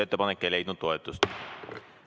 Ettepanek ei leidnud toetust.